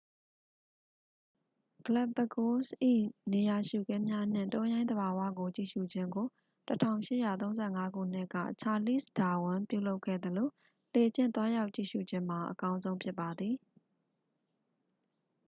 ဂလက်ပ်ပဂိုးစ်၏ နေရာရှုခင်းများနှင့် တောရိုင်းသဘာဝကိုကြည့်ရှုခြင်းကို 1835 ခုနှစ်က ချာလီ့စ်ဒါဝင်း ပြုလုပ်ခဲ့သလို လှေဖြင့်သွားရောက်ကြည့်ရှု့ခြင်းမှာ အကောင်းဆုံးဖြစ်ပါသည်